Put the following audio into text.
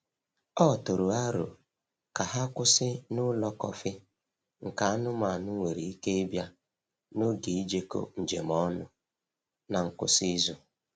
O tụrụ aro ka ha kwụsị n’ụlọ kọfị nke anụmanụ nwere ike ịbịa n’oge ijekọ njem ọnụ n’ngwụsị izu.